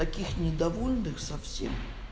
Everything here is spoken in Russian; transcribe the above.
таких недовольных совсем